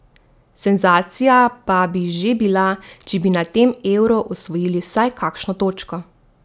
Senzacija pa bi že bila, če bi na tem euru osvojili vsaj kakšno točko.